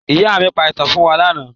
Ìyá mi pa ìtàn fún wa lánàá.